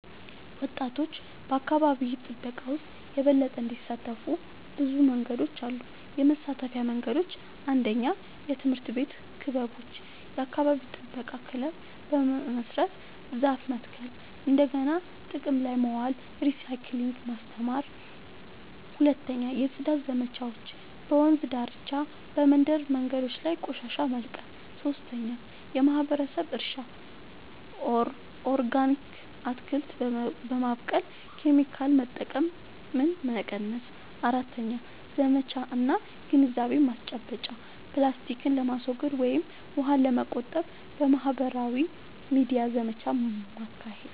ወጣቶች በአካባቢ ጥበቃ ውስጥ የበለጠ እንዲሳተፉ ብዙ መንገዶች አሉ -የመሳተፊያ መንገዶች፦ 1. የትምህርት ቤት ክበቦች – የአካባቢ ጥበቃ ክለብ በመመስረት ዛፍ መትከል፣ እንደገና ጥቅም ላይ ማዋል (recycling) ማስተማር። 2. የጽዳት ዘመቻዎች – በወንዝ ዳርቻ፣ በመንደር መንገዶች ላይ ቆሻሻ መልቀም። 3. የማህበረሰብ እርሻ – ኦርጋኒክ አትክልት በማብቀል ኬሚካል መጠቀምን መቀነስ። 4. ዘመቻ እና ግንዛቤ ማስጨበጫ – ፕላስቲክን ለማስወገድ ወይም ውሃን ለመቆጠብ በማህበራዊ ሚዲያ ዘመቻ ማካሄድ።